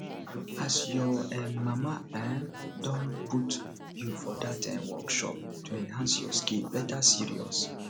as your um mama um don put you for dat um workshop to enhance your skill better serious